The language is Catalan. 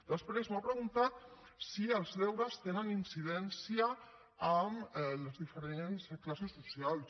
després m’ha preguntat si els deures tenen incidència en les diferents classes socials